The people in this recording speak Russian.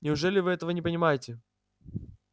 неужели вы этого не понимаете